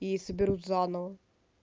и соберут заново